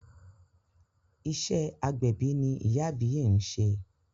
Iṣẹ́ agbẹ̀bí ni ìyá àbíyè ń ṣe.